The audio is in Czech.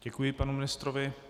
Děkuji panu ministrovi.